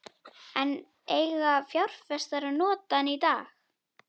En eiga fjárfestar að nota hann í dag?